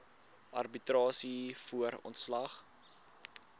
arbitrasie voor ontslag